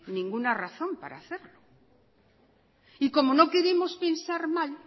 ninguna razón para hacerlo y como no queremos pensar mal